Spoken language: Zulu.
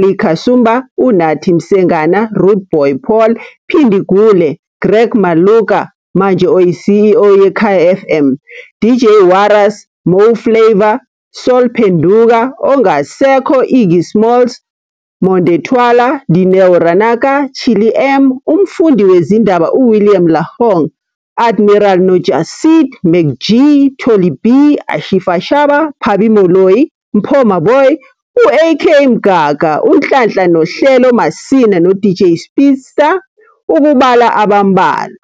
Lee Kasumba, Unathi Msengana, Rude Boy Paul, Phindi Gule, Greg Maloka, manje oyi-CEO yeKaya FM, DJ Warras, Mo Flava, Sol Phenduka, ongasekho Iggy Smallz, Monde Twala, Dineo Ranaka, Chilli M, umfundi wezindaba uWilliam LaHong, Admiral noJah Seed, Mac G, Tholi B, Ashifa Shabba, Pabi Moloi, Mpho Maboi, U-AK Mgaga, uNhlanhla noNhlelo Masina noDJ Speedsta ukubala abambalwa.